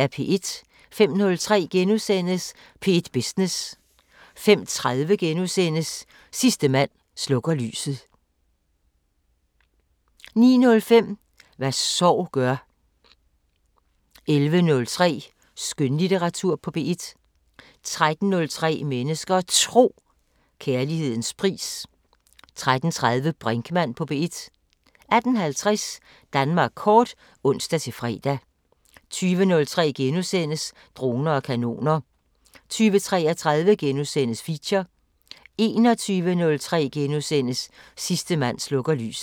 05:03: P1 Business * 05:30: Sidste mand slukker lyset * 09:05: Hvad sorg gør 11:03: Skønlitteratur på P1 13:03: Mennesker og Tro: Kærlighedens pris 13:30: Brinkmann på P1 18:50: Danmark kort (ons-fre) 20:03: Droner og kanoner * 20:33: Feature * 21:03: Sidste mand slukker lyset *